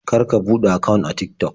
Kar ka buɗe akawun a Tik-Tok.